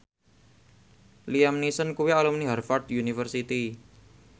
Liam Neeson kuwi alumni Harvard university